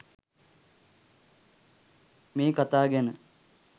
මේ කතා ගැන